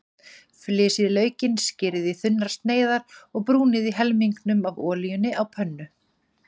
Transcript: Flysjið laukinn, skerið í þunnar sneiðar og brúnið í helmingnum af olíunni á pönnu.